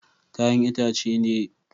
Kayan itacen de na fi tso shine ayaba.